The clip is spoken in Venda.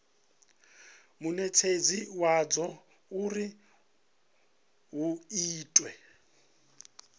munetshedzi wadzo uri hu itwe